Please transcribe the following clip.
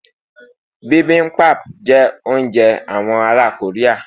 bimbimbap jé ounjẹ àwọn ará Korea